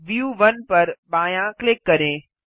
view 1 पर बायाँ click करें